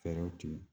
Fɛɛrɛw tigɛ